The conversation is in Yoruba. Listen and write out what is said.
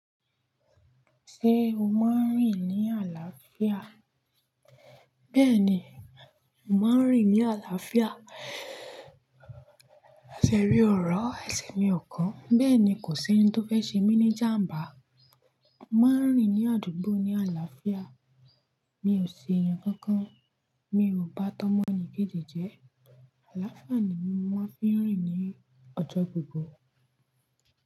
Ṣé o máa ń rìn ní àlàáfíà? Bẹ́ẹ̀ni, mo máa ń rìn ní àlàáfíà. Esè mi òró, ẹsẹ̀ mi ò kan. Bẹ́ẹ̀ ni, kò sí ohun tó fẹ́ ṣe mí ní jàmbá. Mọ máa ń rìn ní àdúgbò ní àlàáfíà. Mi ò ṣe ẹ̀yàn kankan, mi ò bá tọ́mọ ni kéje jẹ. Àlàáfíà ni mo máa ń fi rìn ní ọjọ́ gbogbo.